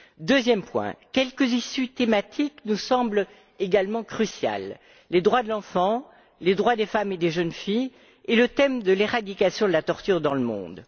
Deuxième point, quelques thémes nous semblent également cruciaux les droits de l'enfant, les droits des femmes et des jeunes filles, et l'éradication de la torture dans le monde.